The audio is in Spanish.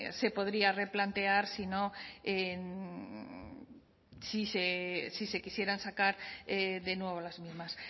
se podría replantear si no en si se quisieran sacar de nuevo las mismas